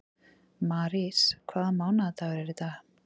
Marís, hvaða mánaðardagur er í dag?